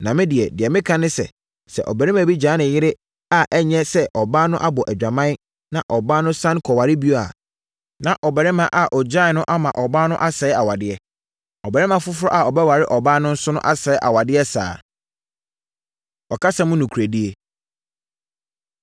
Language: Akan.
Na me deɛ, deɛ mereka ne sɛ, sɛ ɔbarima bi gyaa ne yere a ɛnyɛ sɛ ɔbaa no abɔ adwaman, na ɔbaa no sane kɔware bio a, na ɔbarima a ɔgyaee no no ama ɔbaa no asɛe awadeɛ. Ɔbarima foforɔ a ɔbɛware ɔbaa no nso asɛe awadeɛ saa ara. Ɔkasa Mu Nokorɛdie